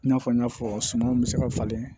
I n'a fɔ n y'a fɔ sumanw bɛ se ka falen